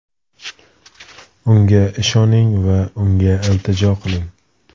Unga ishoning va unga iltijo qiling.